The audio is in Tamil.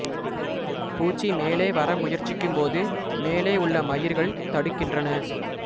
பூச்சி மேலே வர முயற்சிக்கும்போது மேலே உள்ள மயிர்கள் தடுக்கின்றன